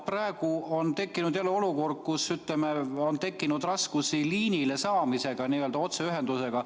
Praegu oleme jälle olukorras, kus on tekkinud raskusi liinile saamisega, n-ö otseühendusega.